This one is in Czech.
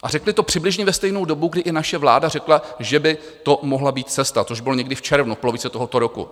A řekli to přibližně ve stejnou dobu, kdy i naše vláda řekla, že by to mohla být cesta, což bylo někdy v červnu, v polovině tohoto roku.